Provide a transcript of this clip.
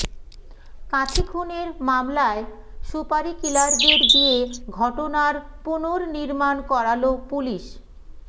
কাঁথি খুনের মামলায় সুপারিকিলারদের দিয়ে ঘটনার পুনর্নির্মান করাল পুলিস